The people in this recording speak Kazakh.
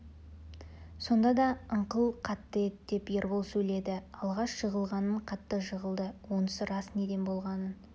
сонда да ыңқыл қатты еді деп ербол сөйледі алғаш жығылғаннан қатты жығылды онысы рас неден болғанын